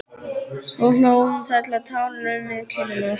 Svo hló hún þar til tárin runnu niður kinnarnar.